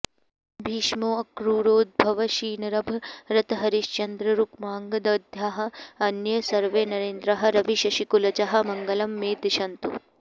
भीष्मोऽक्रूरोद्धवोशीनरभरतहरिश्चन्द्ररुक्माङ्गदाद्याः अन्ये सर्वे नरेन्द्राः रविशशिकुलजाः मङ्गलं मे दिशन्तु